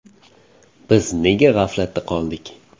Biz nega g‘aflatda qoldik?